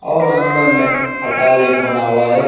और अंदर में खटा लेख बना हुआ हैं।